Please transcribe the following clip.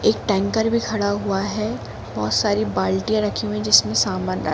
एक टैंकर भी खड़ा हुआ है बहुत सारी बाल्टियां रखी हुई जिसमें सामान--